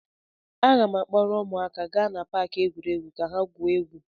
Aga m akpọrọ ụmụaka gaa na paakị egwuregwu ka ha gwuo egwu.